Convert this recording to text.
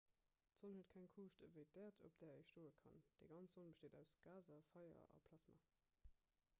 d'sonn huet keng kuuscht ewéi d'äerd op där ee stoe kann déi ganz sonn besteet aus gaser feier a plasma